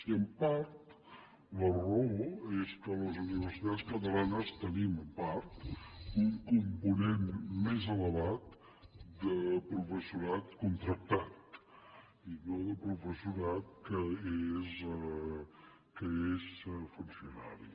i en part la raó és que les universitats catalanes tenim en part un component més elevat de professorat contractat i no de professorat que és funcionari